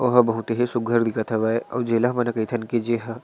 ओहा बहुत ही सुघघर दिखत हवे अऊ जेला हमन ह कइथन की जेहा--